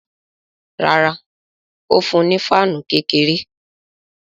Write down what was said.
Rárá, ó fún un ní fáànù kékeré